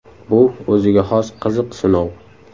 Bu o‘ziga xos qiziq sinov.